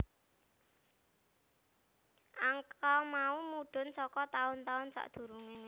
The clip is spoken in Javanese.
Angka mau mudhun saka taun taun sadurungé